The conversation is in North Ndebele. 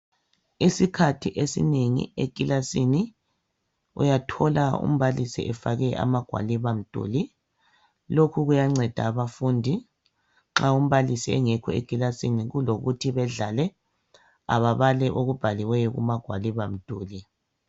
Isikhathi esinengi emakilasini uyathola umbalisi efake ama gwalibamduli. Lokhu kuyanceda abafundi nxa umbalisi engekho ekilasini kulokuthi bedlale ababale okubhaliweyo kuma gwalibamduli